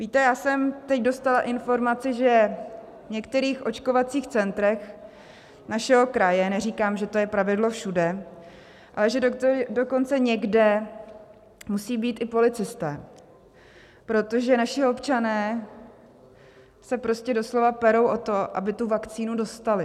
Víte, já jsem teď dostala informaci, že v některých očkovacích centrech našeho kraje - neříkám, že to je pravidlo všude - ale že dokonce někde musí být i policisté, protože naši občané se prostě doslova perou o to, aby tu vakcínu dostali.